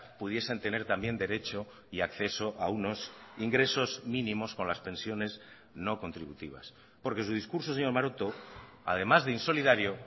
pudiesen tener también derecho y acceso a unos ingresos mínimos con las pensiones no contributivas porque su discurso señor maroto además de insolidario